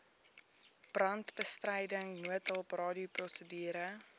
brandbestryding noodhulp radioprosedure